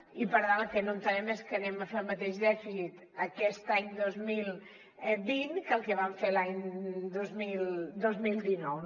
i per tant el que no entenem és que farem el mateix dèficit aquest any dos mil vint que el que vam fer l’any dos mil dinou